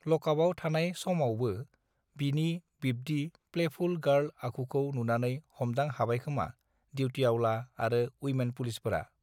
लकापआव थानाय समाबवो बिनि बिब्दि प्लेफुल गार्ल आखुखौ नुनानै हमदां हाबायखोमा दिउटिआवला आरो उइमेन पुलिसफोरा